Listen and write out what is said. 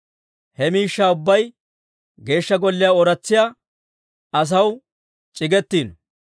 He miishshaa ubbay Geeshsha Golliyaa ooratsiyaa asaw c'iggetiino.